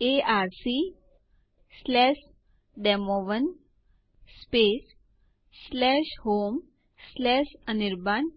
તમારા પસંદગીનો પાસવર્ડ દાખલ કરો મારા કિસ્સામાં